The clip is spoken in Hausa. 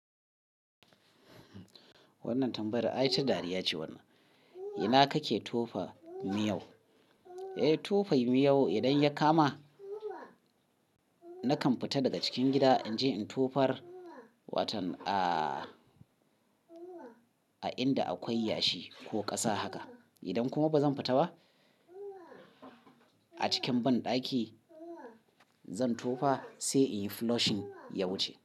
Wannan tambayar ai ta dariya ce wannan. Ina kake tofa miyau? Eh tufai miyau idan ya kama nakan fita daga cikin gida in je in tofar watan a inda akwai yashi ko ƙasa haka. Idan kuma ba zan fita ba a cikin banɗaki zan tofa sai in yi flushing ya wuce.